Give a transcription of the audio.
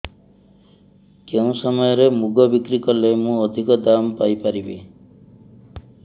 କେଉଁ ସମୟରେ ମୁଗ ବିକ୍ରି କଲେ ମୁଁ ଅଧିକ ଦାମ୍ ପାଇ ପାରିବି